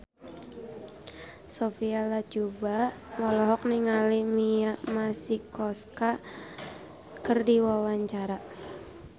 Sophia Latjuba olohok ningali Mia Masikowska keur diwawancara